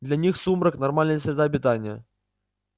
для них сумрак нормальная среда обитания